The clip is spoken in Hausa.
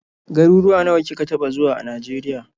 Garuwuwa nawa kika taɓa zuwa a Najeriya.